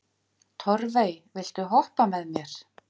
Torfey, viltu hoppa með mér?